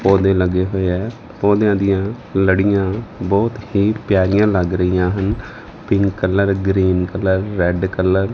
ਪੌਦੇ ਲੱਗੇ ਹੋਏ ਹੈ ਪੌਦਿਆਂ ਦੀਆਂ ਲੜੀਆਂ ਬਹੁਤ ਹੀ ਪਿਆਰੀਆਂ ਲੱਗ ਰਹੀਆਂ ਹਨ pink colour green colour red colour.